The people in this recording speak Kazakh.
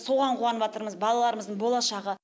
соған қуаныватырмыз балаларымыздың болашағы